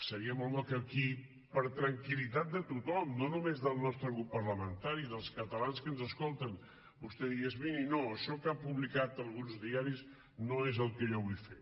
seria molt bo que aquí per tranquillitat de tothom no només del nostre grup parlamentari dels catalans que ens escolten vostè digués miri no això que han publicat alguns diaris no és el que jo vull fer